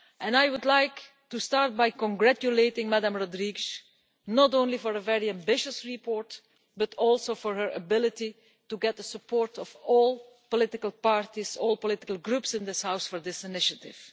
I would like to start by congratulating Ms Rodrigues not only for a very ambitious report, but also for her ability to get the support of all political groups in this House for this initiative.